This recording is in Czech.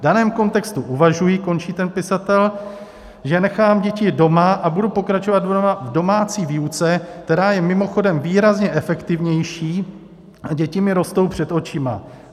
V daném kontextu uvažuji, končí ten pisatel, že nechám děti doma a budu pokračovat v domácí výuce, která je mimochodem výrazně efektivnější, a děti mi rostou před očima.